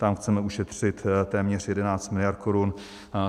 Tam chceme ušetřit téměř 11 mld. korun.